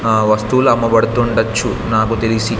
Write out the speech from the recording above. ఆ వస్తువులు అమ్మబడుతుండచ్చు నాకు తెలిసి--